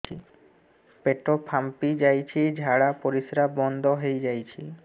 ପେଟ ଫାମ୍ପି ଯାଇଛି ଝାଡ଼ା ପରିସ୍ରା ବନ୍ଦ ହେଇଯାଇଛି